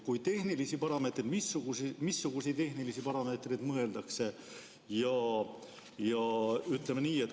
Kui mõeldakse tehnilisi parameetreid, siis missuguseid tehnilisi parameetreid mõeldakse?